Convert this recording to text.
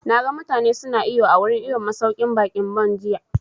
Na ga mutane su na iwo a wurin iwon masauƙin baƙin Bon jiya